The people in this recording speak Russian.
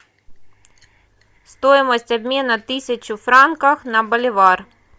стоимость обмена тысячу франков на боливар